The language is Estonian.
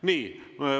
Nii.